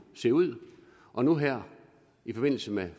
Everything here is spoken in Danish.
se ud og nu her i forbindelse med